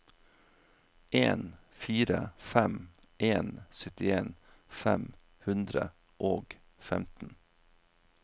en fire fem en syttien fem hundre og femten